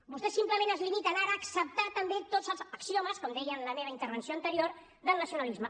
vostès simplement es limiten ara a acceptar també tots els axiomes com deia en la meva intervenció anterior del nacionalisme